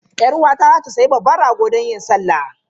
Yar uwata za ta sayi babban rago don yin salah.